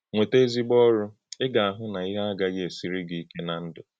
Nwètá ezigbo ọ̀rụ́, ị̀ ga-ahụ̀ na íhè agaghị esírị gị íké ná ndú.